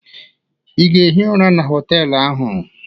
Ị ga-ehi ụra na họtelụ ahụ?